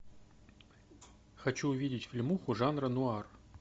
хочу увидеть фильмуху жанра нуар